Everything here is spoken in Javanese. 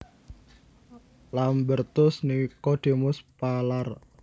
Lambertus Nicodemus Palar